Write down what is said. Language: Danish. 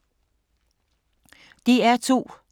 DR2